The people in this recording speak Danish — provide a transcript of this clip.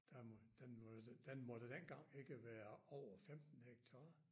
Der må den må den måtte dengang ikke være over 15 hektarer